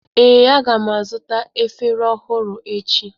Ee, a ga m azụta efere ọhụrụ echi.